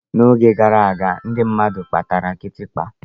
N'oge gara aga, ndị mmadụ kpatara kitikpa.